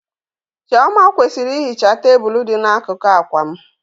Chioma kwesịrị ihicha tebụl dị n'akụkụ akwa m.